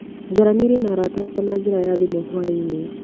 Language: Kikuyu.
Njaranĩirie na arata akwa na njĩra ya thimũ hwainĩ.